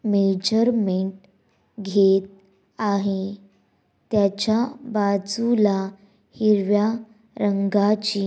measurement घेत आहे त्याच्या बाजूला हिरव्या रंगाची--